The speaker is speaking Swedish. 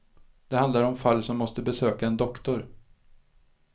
Det handlar om fall som måste besöka en doktor.